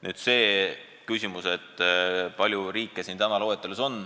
Nüüd see küsimus, kui palju riike siin loetelus on.